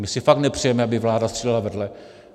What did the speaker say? My si fakt nepřejeme, aby vláda střílela vedle.